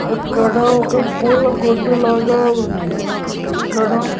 అక్కడ ఒక పూల కొట్టు లాగా ఉంది అక్కడ--